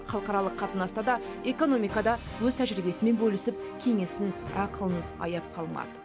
халықаралық қатынаста да экономикада өз тәжірибесімен бөлісіп кеңесін ақылын аяп қалмады